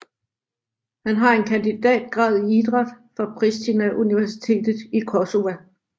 Han har en kandidatgrad i idræt fra Prishtina universitet i Kosova